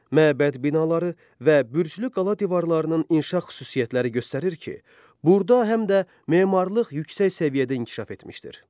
Məbəd binaları və bürclü qala divarlarının inşa xüsusiyyətləri göstərir ki, burda həm də memarlıq yüksək səviyyədə inkişaf etmişdir.